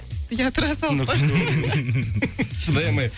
ия тұра салып па шыдай алмай